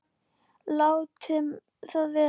Látum það vera.